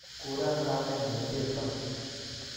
Kuron kamennyu ''Cheptoo"